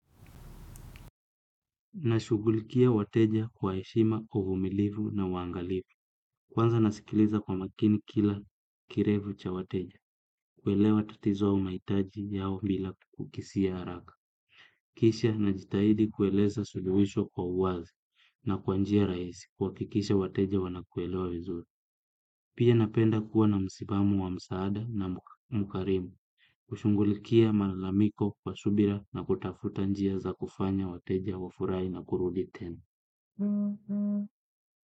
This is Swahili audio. Nashughulikia wateja kwa heshima uvumilivu na uangalifu. Kwanza nasikiliza kwa makini kila kirevu cha wateja. Kuelewa tatizo mahitaji yao bila kukisia haraka. Kisha najitahidi kueleza suluhisho kwa uwazi na kwa njia rahisi kuhakikisha wateja wanakuelewa vizuri. Pia napenda kuwa na msimamu wa msaada na mkarimu. Kushughulikia malamiko kwa subira na kutafuta njia za kufanya wateja wa furahi na kurudi tenu. Kwa hivyo.